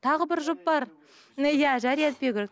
тағы бір жұп бар иә жария етпеу керек